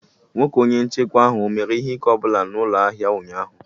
Nwoke Onye nchekwa ahụ ọ mere ihe ike ọ bụla n'ụlọ ahịa ụnyaahụ?